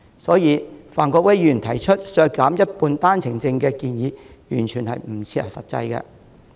所以，范國威議員提出削減一半單程證的建議完全不切實際。